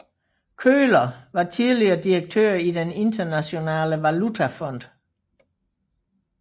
Köhler var tidligere direktør i Den Internationale Valutafond